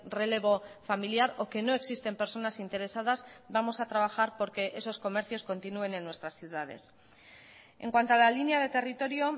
relevo familiar o que no existen personas interesadas vamos a trabajar porque esos comercios continúen en nuestras ciudades en cuanto a la línea de territorio